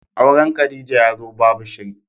Auren Khadijah yazo babu shiri.